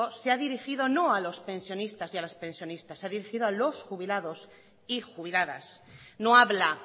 se ha dirigido no a los pensionistas y a las pensionistas se ha dirigido a los jubilados y jubiladas no habla